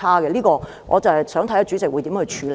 就這方面，我想看看主席會如何處理。